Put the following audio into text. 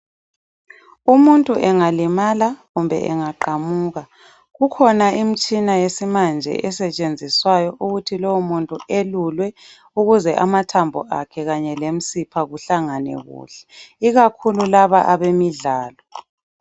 Umuntu engalimala kumbe engaqamuka, kukhona imitshina yesimanje, esetshenziswayo ukuthi lowomuntu elulwe ukuze amathambo akhe kanye lemisipha kuhlangane kuhle. Ikakhulu, laba, abemidlalo.